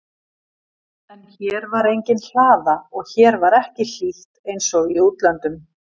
En hér var engin hlaða og hér var ekki hlýtt einsog í útlöndum.